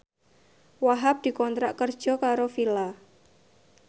Wahhab dikontrak kerja karo Fila